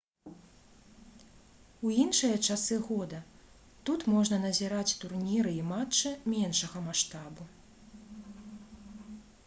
у іншыя часы года тут можна назіраць турніры і матчы меншага маштабу